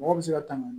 Mɔgɔ bɛ se ka tanga